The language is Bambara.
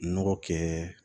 Nɔgɔ kɛ